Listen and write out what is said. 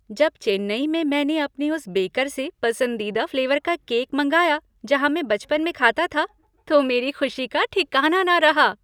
जब चेन्नई में मैंने अपने उस बेकर से पसंदीदा फ्लेवर का केक मंगाया जहाँ मैं बचपन में खाता था तो मेरी खुशी का ठिकाना न रहा।